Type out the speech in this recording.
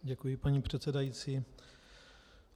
Děkuji, paní předsedající.